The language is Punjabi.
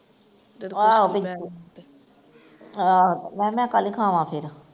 ਆਹ ਆਹੋ ਮੈਂ ਕਿਹਾ ਮੈਂ ਕਾਹਦੇ ਲਈ ਖਾਵਾ ਫਿਰ